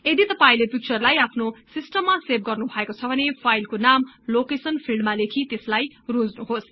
यदि तपाईंले पिक्चरलाई आफ्नो सिस्टममा सेभ गर्नु भएको छ भने फाईलको नाम लोकेशन फिल्डमा लेखि त्यसलाई रोज्नुहोस्